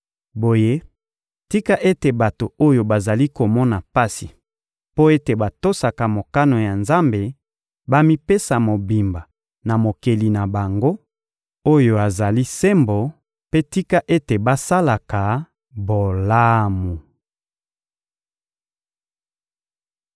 Boye tika ete bato oyo bazali komona pasi mpo ete batosaka mokano ya Nzambe bamipesa mobimba na Mokeli na bango oyo azali sembo, mpe tika ete basalaka bolamu.